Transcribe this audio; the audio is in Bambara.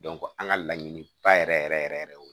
an ka laɲiniba yɛrɛ yɛrɛ yɛrɛ yɛrɛ o